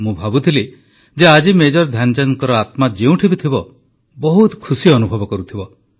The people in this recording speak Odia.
ମୁଁ ଭାବୁଥିଲି ଯେ ଆଜି ମେଜର ଧ୍ୟାନଚାନ୍ଦଙ୍କ ଆତ୍ମା ଯେଉଁଠି ବି ଥିବ ବହୁତ ଖୁସି ଅନୁଭବ କରୁଥିବ